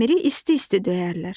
Dəmiri isti-isti döyərlər.